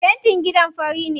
Fentin gidan fari ne.